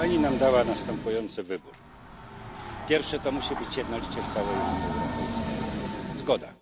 Dała nam Pani następujący wybór po pierwsze, to musi być jednolicie w całej Unii Europejskiej. Zgoda.